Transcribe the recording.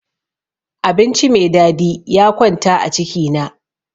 Abinci me dadi ya kwanta a ciki na.